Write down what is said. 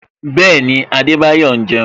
Bẹẹni, Adebayo ń jeun